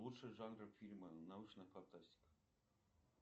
лучшие жанры фильма научная фантастика